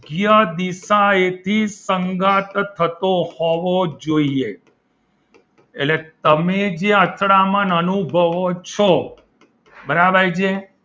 યોગ્ય દિશાએથી સંગાથ થતો હોવું જોઈએ એટલે તમે જે અથડામણ અનુભવો છો બરાબર છે?